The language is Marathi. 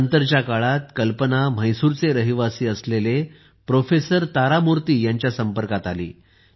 नंतरच्या काळात कल्पना म्हैसूरच्या रहिवासी असणाऱ्या प्रोफेसर तारमूर्ती यांच्या संपर्कात आली